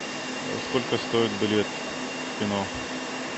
сколько стоит билет в кино